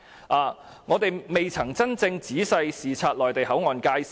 再者，我們並未真正仔細視察內地口岸界線。